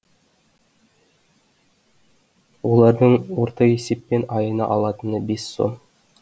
олардың орта есеппен айына алатыны бес сом